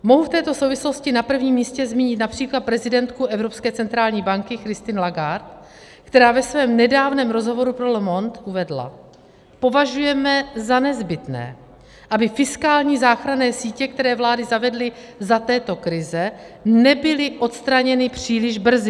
Mohu v této souvislosti na prvním místě zmínit například prezidentku Evropské centrální banky Christine Lagarde, která ve svém nedávném rozhovoru pro Le Monde uvedla: Považujeme za nezbytné, aby fiskální záchranné sítě, které vlády zavedly za této krize, nebyly odstraněny příliš brzy.